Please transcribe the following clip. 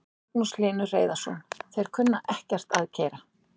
Magnús Hlynur Hreiðarsson: Þeir kunna ekkert að keyra?